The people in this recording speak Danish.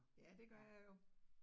Ja, det gør jeg jo